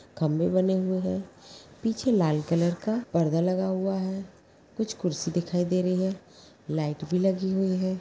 खंभे बने हुए है | पीछे लाल कलर का पर्दा लगा हुआ है | कुछ कुर्सी दिखाई दे रही है | लाइट भी लगी हुई है ।